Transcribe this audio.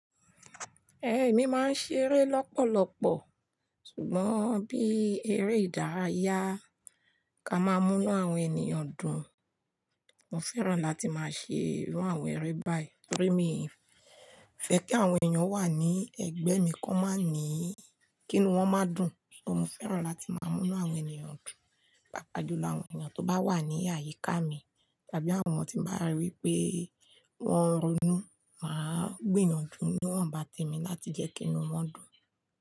Ẹ̀mi máa ń ṣeré lọ́pọ̀lọ́pọ̀, ṣùgbọ́n bí eré ìdárayá ka máa mú inú àwọn ènìyàn dùn, mo fẹ́ràn láti máa ṣe irú àwọn eré báyìí. Torí mi fẹ́ kí àwọn èèyàn wà ní ẹ̀gbẹ́ mi kan máa ní kí inú wọn má dùn. So mo fẹ́ràn láti máa mú inú àwọn ènìyàn dùn, pàápàá jùlọ àwọn ènìyàn tó bá wà ní àyíká mi tàbí àwọn tí mo bá rí pé wọ́n n ronú, màá gbìyànjú niwonbá temi láti jẹ́ kí inú wọn dùn.